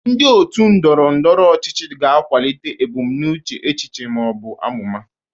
Ndị otu ndọrọ ndọrọ ọchịchị ga-akwalite ebumnuche echiche ma ọ bụ amụma